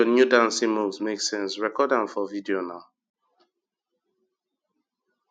dis your new dancing moves make sense record am for video na